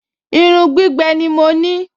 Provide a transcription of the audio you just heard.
Irun gbígbẹ ni mo ní